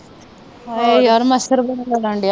ਹਾਏ ਯਾਰ ਮੱਛਰ ਬੜਾ ਲੜਨ ਦਿਆ।